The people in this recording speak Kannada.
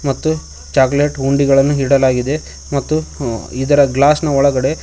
ಮತ್ತು ಚಾಕಲೇಟ್ ಹುಂಡಿಗಳನ್ನು ಇಡಲಾಗಿದೆ ಮತ್ತು ಆ ಇದರ ಗ್ಲಾಸ್ ನ ಒಳಗಡೆ--